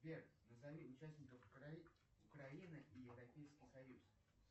сбер назови участников украины и европейский союз